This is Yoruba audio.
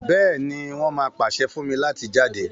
béèni, won má pase fún mí láti jáde.